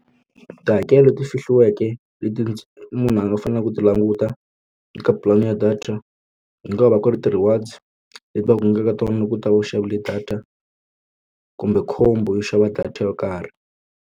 Tihakelo leti fihliweke leti munhu a faneleke ku ti languta eka pulani ya data ku nga va ku ri ti-rewards leti va tlangaka tona loko u ta va u xavile data kumbe khombo yo xava data yo karhi.